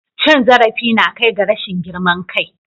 Cin zarafi na kai ga rashin girman kai.